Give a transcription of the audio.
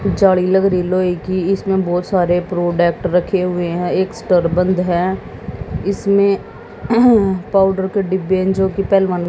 जाली लग रही लोहे की इसमें बहुत सारे प्रोडक्ट रखे हुए हैं एक स्टार बंद है इसमें पाउडर के डिब्बे हैं जो कि पहलवानों--